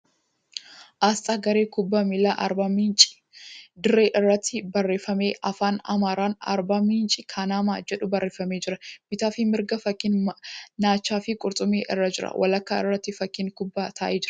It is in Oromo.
Asxaa garee kubbaa miilaa Arbaa Miinci. Dirra isaa irratti barreeffamni Afaan Amaaraan 'Arbaa miinci kanamaa' jedhu barreefamee jira. Bitaaf mirgaan fakkiin naacha fi qurxummii irra jira. Walakkaa irratti fakkiin kubbaa taa'ee jira.